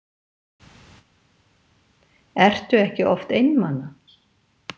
Ertu ekki oft einmana?